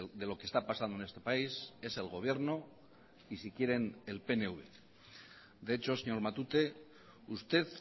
de lo que está pasando en este país es el gobierno y si quieren el pnv de hecho señor matute usted